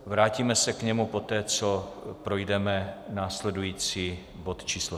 Vrátíme se k němu poté, co projdeme následující bod číslo